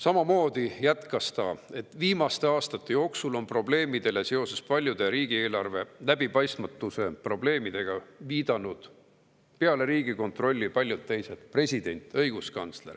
Ta jätkab: "Viimaste aastate jooksul on probleemidele seoses praeguse riigieelarve läbipaistmatusega viidanud ka paljud teised – president, õiguskantsler,